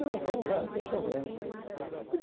Não, vamos lá, não tem problema.